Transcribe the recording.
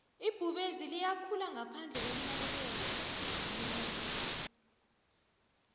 ibhubezi liyakhula ngaphandle kokunakelelwamumuntu